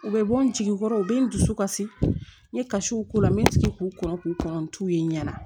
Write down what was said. U bɛ bɔ n jigi kɔrɔ u bɛ n dusu kasi n ye kasiw k'u la n bɛ sigi k'u kɔn k'u kɔnɔntu ye n ɲɛna